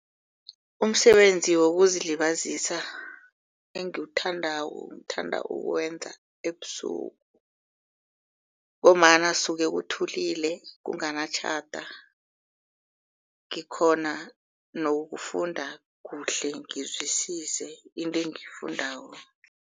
Umsebenzi wokuzilibazisa engiwuthandako ngithanda ukuwenza ebusuku. Ngombana suke kuthulile kunganatjhada ngikhona nokufunda kuhle ngizwisise into engiyifundako.